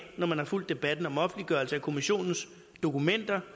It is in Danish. når man har fulgt debatten om offentliggørelse af kommissionens dokumenter